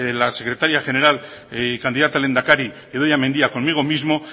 la secretaria general candidata a lehendakari idoia mendia conmigo mismo